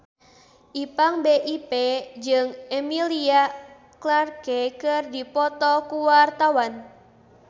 Ipank BIP jeung Emilia Clarke keur dipoto ku wartawan